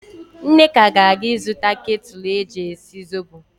Nneka ga-aga ịzụta ketụlụ eji esi zobo.